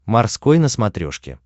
морской на смотрешке